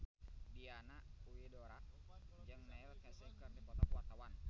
Diana Widoera jeung Neil Casey keur dipoto ku wartawan